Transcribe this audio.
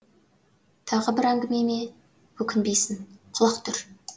тағы бір әңгімеме өкінбейсің құлақ түр